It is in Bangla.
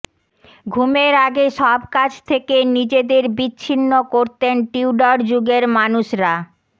ঘুমের আগে সব কাজ থেকে নিজেদের বিছিন্ন করতেন টিউডর যুগের মানুষরা